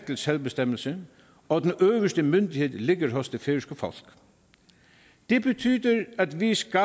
til selvbestemmelse og at den øverste myndighed ligger hos det færøske folk det betyder at vi skal